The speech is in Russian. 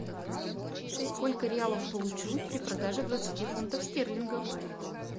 сколько реалов получу при продаже двадцати фунтов стерлингов